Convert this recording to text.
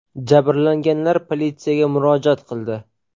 Jabrlanganlar politsiyaga murojaat qildi.